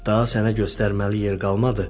daha sənə göstərməli yer qalmadı.